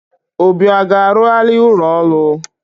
Obi a ga-arụgharị ụlọ ọrụ?